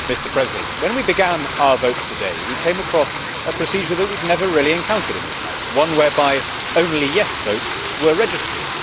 Mr President, when we began our votes today, we came across a procedure that we had never really encountered in this House before one whereby only yes' votes were registered.